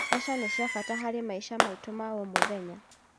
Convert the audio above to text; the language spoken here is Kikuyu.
Mbeca nĩ cia bata harĩ maica maitũ ma o mũthenya.